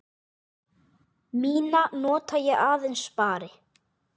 Mína nota ég aðeins spari.